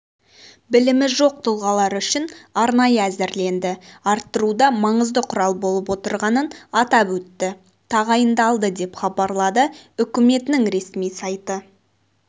білімі жоқ тұлғалар үшін арнайы әзірленді арттыруда маңызды құрал болып отырғанын атап өтті тағайындалды деп хабарлады үкіметінің ресми сайты